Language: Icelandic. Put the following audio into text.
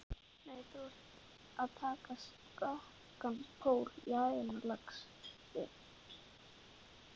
Nei, þú ert að taka skakkan pól í hæðina, lagsi.